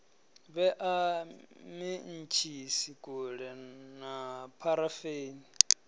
vhea mentshisi kule na pharafeni